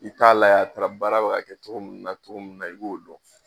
I t'a layɛ a taara baara bɛ ka kɛ cogo mun na cogo mun na i k'o dɔn.